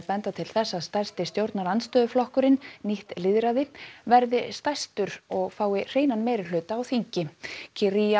benda til þess að stærsti stjórnarandstöðuflokkurinn nýtt lýðræði verði stærstur og fái hreinan meirihluta á þingi